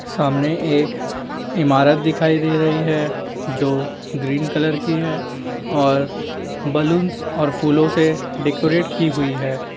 सामने एक ईमारत दिखाई दे रही है जो ग्रीन कलर कि है और बलूंस और फूलो से डेकोरेट की हुई है।